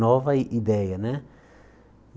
nova ideia, né?